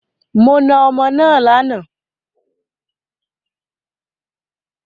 Mo náà ọmọ náà lànà